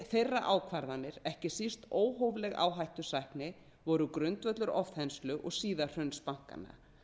þeirra ákvarðanir ekki síst óhófleg áhættusækni voru grundvöllur ofþenslu og síðar hruns bankanna